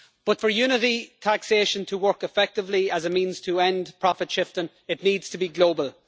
But for unity in taxation to work effectively as a means to end profit shifting, it needs to be global.